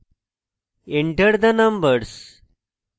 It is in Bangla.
enter the numbers